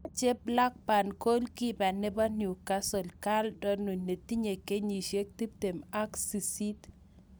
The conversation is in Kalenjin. Machei Blackburn goalkeeper nebo Newcastle Karl Darlow netinye kenyisiek tiptem ak sisit